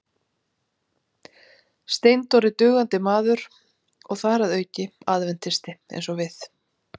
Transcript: Steindór er dugandi maður og þar að auki aðventisti eins og við.